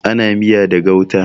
Ana miya da gauta.